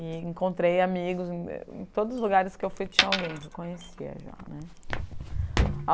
E encontrei amigos em todos os lugares que eu fui tinha alguém que eu conhecia já, né?